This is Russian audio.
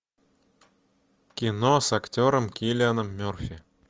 кино с актером киллианом мерфи